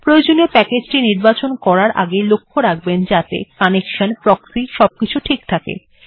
প্রয়োজনীয় প্যাকেজ্ টি নির্বাচন করার আগে লক্ষ্য রাখবেন যাতে কানেকশন্প্রক্সি সবকিছু যেন সঠিক থাকে